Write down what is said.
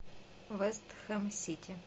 вест хэм сити